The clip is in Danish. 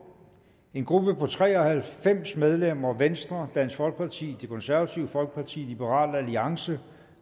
en gruppe på tre og halvfems medlemmer venstre dansk folkeparti det konservative folkeparti liberal alliance